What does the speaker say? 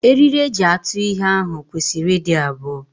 Eriri eji atụ ihe ahụ kwesịrị ịdị abụọ.